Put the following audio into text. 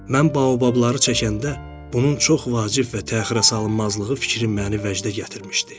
Mən baobabları çəkəndə bunun çox vacib və təxirəsalınmazlığı fikri məni vəcdə gətirmişdi.